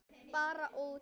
Bara út.